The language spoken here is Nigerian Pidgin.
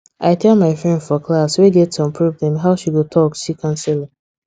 i tell my friend for class wey get some problem how she go talk see counsellor